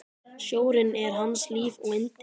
Sjórinn er hans líf og yndi!